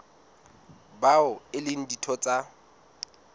bao e leng ditho tsa